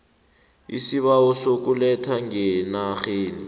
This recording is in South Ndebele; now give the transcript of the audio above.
isibawo sokuletha ngeenarheni